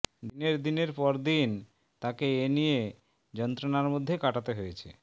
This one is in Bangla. দিনের দিনের পর দিন তাকে এনিয়ে যন্ত্রণার মধ্যে কাটাতে হয়েছে